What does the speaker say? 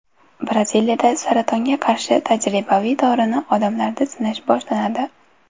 Braziliyada saratonga qarshi tajribaviy dorini odamlarda sinash boshlanadi.